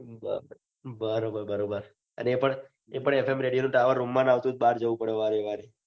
બરોબર બરોબર એ પણ એફ એમ રેડીઓ નો ટાવર રૂમ માં ના આવે તો બાર જવું પડે વારે વારે.